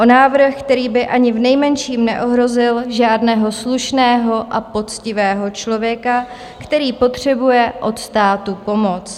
O návrh, který by ani v nejmenším neohrozil žádného slušného a poctivého člověka, který potřebuje od státu pomoc.